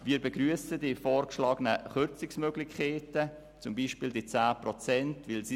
Wir begrüssen die vorgeschlagenen Kürzungsmöglichkeiten wie zum Beispiel die Reduktion um 10 Prozent, welche wir annehmen.